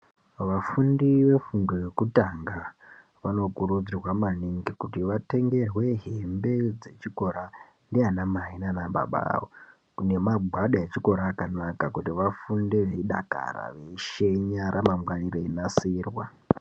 Vafundi vefundo yekutanga vanokurudzirwa maningi kuti vatengerwe hembe dzechikora ndiana mai nana baba avo ne magwada echikora akanaka kuti vafunde eidakara nekushenya ramangwana reinasirwa.